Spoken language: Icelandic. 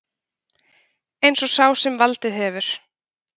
Eins og sá sem valdið hefur